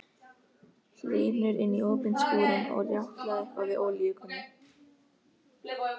Hlynur inní opinn skúrinn og rjátlaði eitthvað við olíukönnu.